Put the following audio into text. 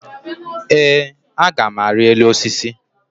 Ee, a gam ari elu osisi